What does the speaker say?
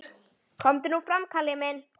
Komdu nú fram, Kalli minn!